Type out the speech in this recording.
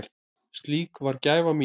Slík var gæfa mín.